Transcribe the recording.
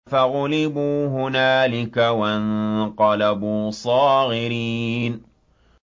فَغُلِبُوا هُنَالِكَ وَانقَلَبُوا صَاغِرِينَ